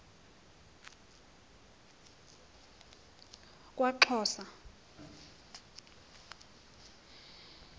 kwaxhosa